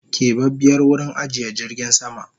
Kebabiyar wurin ajiye jirgin sama